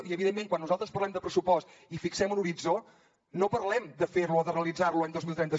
i evidentment quan nosaltres parlem de pressupost i fixem un horitzó no parlem de fer lo o de realitzar lo l’any dos mil trenta